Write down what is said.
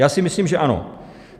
Já si myslím, že ano.